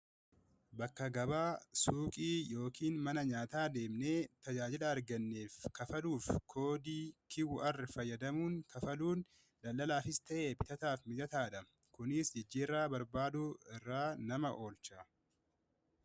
bakka gabaa suuqii yookiin mana nyaataa deemne tajaajila arganneef kafaluuf koodii kiwur fayyadamuun kafaluun daldalaa fis ta'ee bitataaf mijataadha kunis jijjirra barbaadu irra nama oolcha.